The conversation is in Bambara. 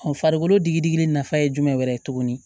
farikolo digi digi nafa ye jumɛnɛrɛ ye tuguni